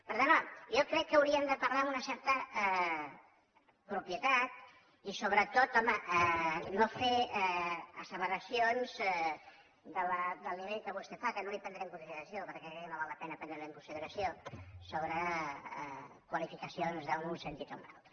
per tant home jo crec que hauríem de parlar amb una certa propietat i sobretot home no fer asseveracions del nivell que vostè fa que no les hi prendré en consideració perquè crec que no val la pena prendre les hi en consideració sobre qualificacions en un sentit o en un altre